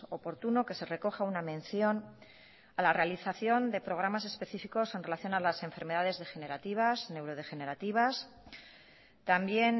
oportuno que se recoja una mención a la realización de programas específicos en relación a las enfermedades degenerativas neurodegenerativas también